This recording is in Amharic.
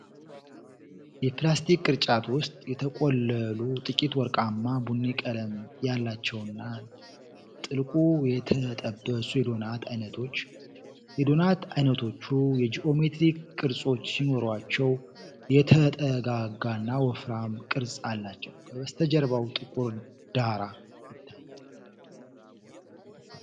የፕላስቲክ ቅርጫት ውስጥ የተቆለሉ ጥቂት ወርቃማ ቡኒ ቀለም ያላቸውና ጥልቁ የተጠበሱ የዶናት ዓይነቶች ። የዶናት ዓይነቶቹ የጂኦሜትሪክ ቅርጾች ሲኖሯቸው፣ የተጠጋጋና ወፍራም ቅርጽ አላቸው። ከበስተጀርባ ጥቁር ዳራ ይታያል።